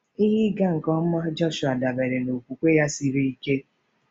Ihe ịga nke ọma Jọshụa dabeere na okwukwe ya siri ike.